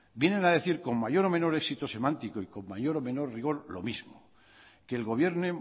vienen a decir con mayor o menor éxito semántico y con mayor o menor rigor lo mismo que el gobierno